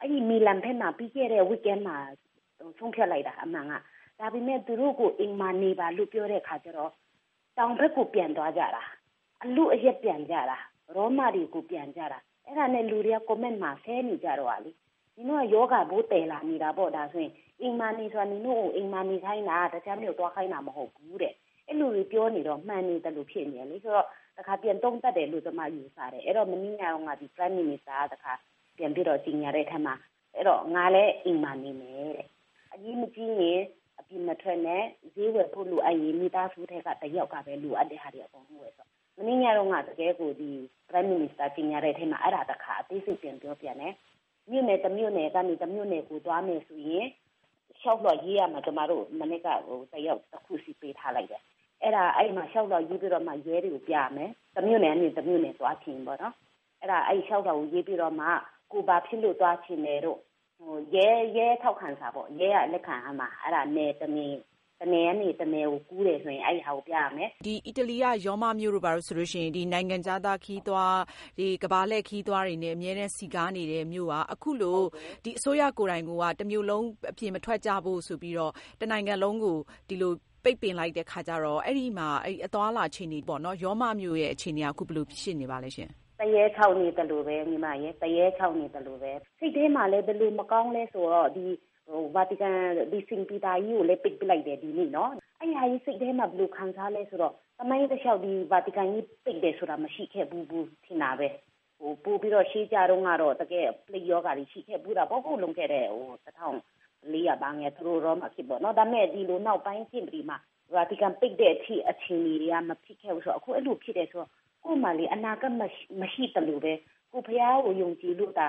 အဲဒီ မီလန်ဘက်မှာ ပြီးခဲ့တဲ့ အပတ်မှာ ဆုံးဖြတ်လိုက်တာ အမှန်က ။ ဒါပေမယ့် သူတို့ကို အိမ်မှာနေပါလို့ ပြောတဲ့အခါကျတော့ တောင်ဘက်ကို ပြန်သွားကြတာ။ အဲဒါနဲ့ လူတွေက comment မှာ ဆဲနေတာလေ နင်တို့က ရောဂါပိုးသယ်လာတာလေ။ အိမ်မှာနေဆိုတာ နင်တို့ကို အိမ်မှာ နေခိုင်းတာ တခြားမြို့ကိုသွားခိုင်းတာ မဟုတ်ဘူးတဲ့။ အဲဒီလို တွေပြောနေတော့ မှန်နေသလိုတွေ ဖြစ်နေတယ်လေ ဆိုတော့ တခါ ပြန်သုံးသပ်တယ်လို့ ကျမယူဆတယ် ။ မနေ့ကတုန်းက Prime Minister က တခါ ကြေညာတဲ့အထဲမှာ ငါလည်း အိမ်မှာ နေမယ်။ အရေးမကြီးရင် အပြင်မထွက်နဲ့ ဈေးဝယ်ဖို့လိုရင် မိသားစုထဲက တယောက်ပဲ အကုန်လုံးလိုတာတွေ ဝယ်ဖို့။ မနေ့ညတုန်းကတော့ Prime Minister ကြေညာတဲ့အထဲမှာ အဲဒါ တခါ အသေးစိတ်ပြန်ပြောတယ်။ မြို့နယ် တမြို့နယ်ကနေ တမြို့နယ်ကို သွားမယ်ဆိုရင် လျှောက်လွှာရေးရမယ် ကျမတို့ကို တယောက် တခုစီ ပေးထားတယ်။ အဲဒီလျှောက်လွှာရေးပြီးတော့မှ ရဲတွေကို ပြရမယ်။ တမြို့နယ်ကနေ တမြို့နယ်ကို သွားမယ်ဆိုရင်ပေါ့နော်။ လျှောက်လွှာရေးပြီးတော့မှ ကိုယ်ဘာဖြစ်လို့ သွားချင်တယ်တို့ ရဲက ထောက်ခံစာလည်းလိုတယ်။ တနေရာကနေ တနေရာကို ကူးတယ်ဆိုရင် အဲဒါကို ပြရမယ်။ အီတလီက ရောမမြို့တို့ဆိုရင် နိုင်ငံခြားသား ခရီးသွား၊ ကမ္ဘာလည့် ခရီးသွားတွေနဲ့ အမြဲစည်ကားနေတဲ့ မြို့က အခုလို အစိုးရကိုယ်တိုင်က တမြို့လုံး အပြင်မထွက်ကြဖို့ ဆိုပြီးတော့ တနိုင်ငံလုံးကို ပိတ်ပင်လိုက်တဲ့ အခါကျတော့ အဲဒီမှာ ရောမမြို့အခြေအနေက ဘယ်လိုဖြစ်နေပါသလဲ။ သရဲခြောက်နေသလိုပဲ ၊ စိတ်ထဲမှာလည်း ဘယ်လိုမကောင်းသလဲဆိုတော့ Vatican ကြီးကိုလည်း ပိတ်လိုက်တယ်။ အဲဒီဟာကြီး စိတ်ထဲမှာ ဘယ်လိုခံစားသလဲဆိုတော့ သမိုင်းတလျှောက် Vatican ကြီး ပိတ်တယ်ဆိုတာ မရှိခဲ့ဘူး ထင်တာပဲ။ ပိုပြီးတော့ ရှေးတုန်းကတော့ ပလိပ်ရောဂါတွေ ရှိခဲ့ဖူးတာပေါ့နော် လွန်ခဲ့တဲ့ နှစ် ၁၄၀၀ တို့ ဘာတို့။ ဒါပေမယ့် နောက်ပိုင်းနှစ်တွေမျာ Vatican ကြီး ပိတ်တဲ့အထိ အခြေအနေက မဖြစ်ခဲ့ဘူးဆိုတော့ အခုအဲလိုဖြစ်တယ်ဆိုတော့ ကိုယ့်မှာ အနာဂါတ်မရှိသလိုပဲ။ ကိုယ်ဘုရားကို ယုံကြည်လို့သာ